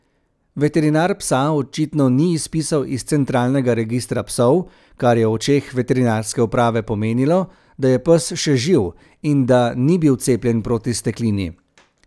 Veterinar psa očitno ni izpisal iz centralnega registra psov, kar je v očeh veterinarske uprave pomenilo, da je pes še živ in da ni bil cepljen proti steklini.